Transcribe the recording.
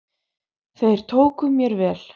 Þeir tóku mér vel.